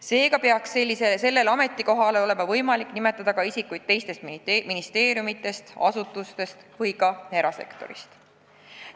Seega peaks nendele ametikohtadele olema võimalik nimetada ka isikuid teistest ministeeriumidest, muudest asutustest või ka erasektorist.